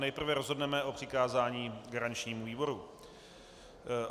Nejprve rozhodneme o přikázání garančnímu výboru.